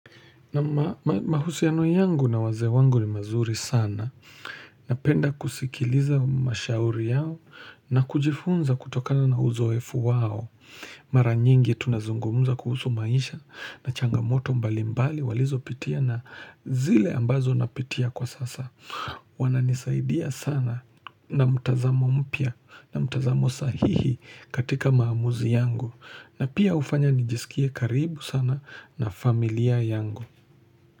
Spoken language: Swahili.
Na mahusiano yangu na wazee wangu ni mazuri sana. Napenda kusikiliza mashauri yao na kujifunza kutokana na uzoefu wao. Mara nyingi tunazungumuza kuhusu maisha na changamoto mbalimbali walizopitia na zile ambazo napitia kwa sasa. Wananisaidia sana na mtazamo mpya na mtazamo sahihi katika maamuzi yangu. Na pia hufanya nijisikie karibu sana na familia yangu.